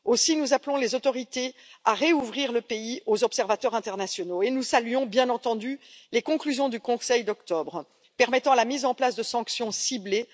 Aussi, nous appelons les autorités à réouvrir le pays aux observateurs internationaux et nous saluons, bien entendu, les conclusions du Conseil d'octobre, permettant la mise en place de sanctions ciblées.